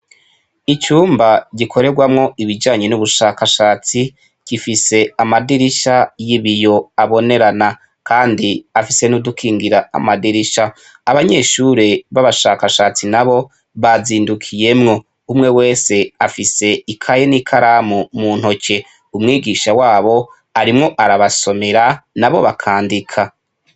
Icumba gikorerwamo Ibijanye n'ubushakashatsi, gifise amadirisha y'ibiyo abonerana kandi afise n'udukingira amadirisha, abanyeshure b'abashakashatsi nabo bazindukiyemwo, umwe wese afise ikaye n'ikaramu mu ntoki, umwigisha wabo arimwo arabasomera nabo bakandika.